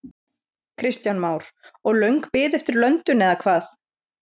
Kristján Már: Og löng bið eftir löndun eða hvað?